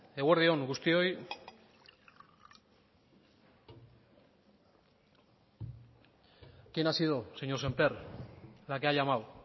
eguerdi on guztioi quién ha sido señor sémper la que ha llamado